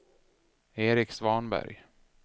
Erik Svanberg